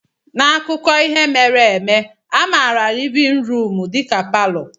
N'akụkọ ihe mere eme, a maara livin ruum dịka palọ.